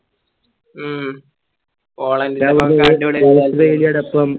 ഉം